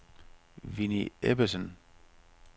Winnie Ebbesen